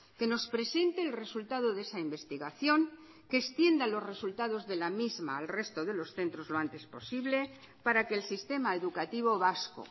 que nos presente el resultado de esa investigación que extienda los resultados de la misma al resto de los centros lo antes posible para que el sistema educativo vasco